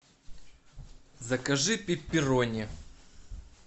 закажи пепперони